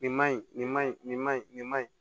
Nin ma ɲi nin ma ɲi nin ma ɲi nin ma ɲi